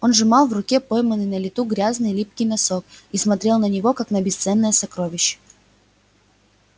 он сжимал в руке пойманный на лету грязный липкий носок и смотрел на него как на бесценное сокровище